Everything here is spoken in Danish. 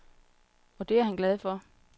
Og det er han glad for.